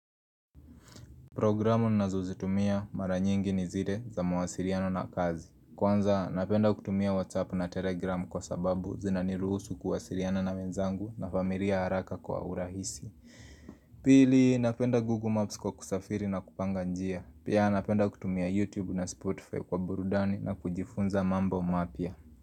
Programu nazozitumia mara nyingi ni zile za mawasiliano na kazi. Kwanza napenda kutumia WhatsApp na Telegram kwa sababu zinaniruhusu kuwasiliana na wenzangu na familia haraka kwa urahisi. Pili napenda Google Maps kwa kusafiri na kupanga njia. Pia napenda kutumia YouTube na Spotify kwa burudani na kujifunza mambo mapya.